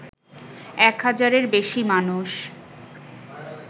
এক হাজারের বেশি মানুষ